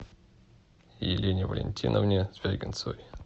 елене валентиновне звягинцевой